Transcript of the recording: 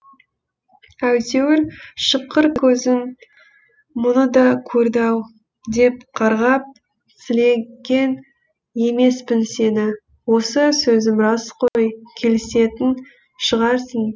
әйтеуір шыққыр көзім мұны да көрді ау деп қарғап сілеген емеспін сені осы сөзім рас қой келісетін шығарсың